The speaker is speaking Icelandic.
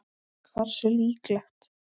Hversu líklegt?